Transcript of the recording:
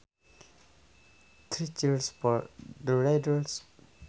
Three cheers for the raiders